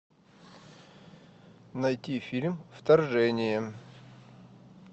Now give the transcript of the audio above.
найти фильм вторжение